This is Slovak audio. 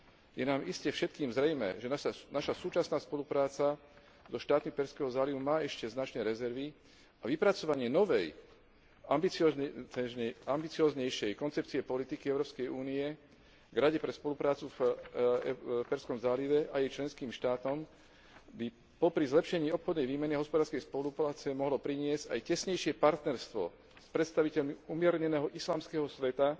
Je nám iste všetkým zrejmé, že naša súčasná spolupráca so štátmi Perzského zálivu má ešte značné rezervy a vypracovanie novej, ambicióznejšej koncepcie politiky Európskej únie v Rade pre spoluprácu v Perzskom zálive a jej členských štátoch by popri zlepšení obchodnej výmeny hospodárskej spolupráce mohlo priniesť aj tesnejšie partnerstvo s predstaviteľmi umierneného islamského sveta,